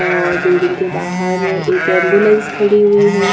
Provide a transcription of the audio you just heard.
और बिल्डिंग के बाहर एक एंबुलेंस खड़ी हुई है।